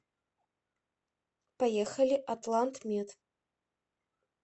поехали атлантмед